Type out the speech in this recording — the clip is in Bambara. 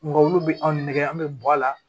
Nga olu be anw nɛgɛ an be bɔ a la